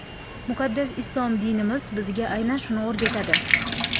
Muqaddas islom dinimiz bizga aynan shuni o‘rgatadi.